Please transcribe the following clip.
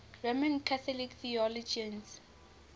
roman catholic theologians